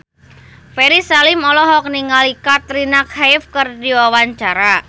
Ferry Salim olohok ningali Katrina Kaif keur diwawancara